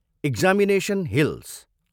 Examination hills.